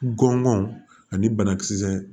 Gɔngɔn ani banakisɛ